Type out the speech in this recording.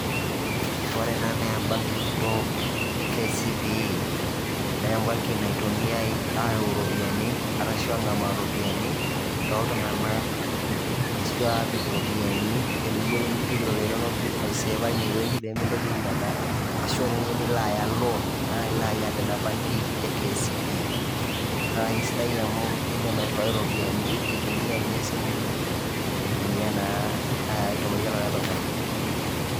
Ore ena naa e banki kitok e KCB, naa e banki naitumiai areu iropiyiani arashu aang`amaa iropiyiani too iltung`ank, ashu aapik iropiyiani. Teniyieu nipik iropiyiani inonok pee itum ai saver teina wueji pee mintoki ainyialaa , ashu teniyieu nilo aya loan naa ilo aya tena benki e KCB. Naa keisidai amu idim airiwai irropiyiani intumia ninye esimu ino aitumaki likae tung`ani.